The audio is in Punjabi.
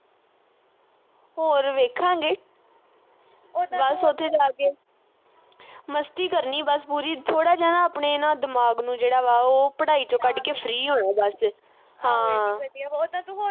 ਹੋਰ ਵੇਖਾਂਗੇ। ਬਸ ਉਥੇ ਜਾ ਕੇ। ਮਸਤੀ ਕਰਨੀ ਬਸ ਪੂਰੀ। ਥੋੜ੍ਹਾ ਜਾ ਨਾ, ਆਪਣੇ ਨਾ ਦਿਮਾਗ ਨੂੰ ਜਿਹੜਾ ਵਾ, ਉਹ ਪੜਾਈ ਚੋਂ ਕੱਢ ਕੇ free ਹੋਣਾ ਬਸ। ਹਾਂ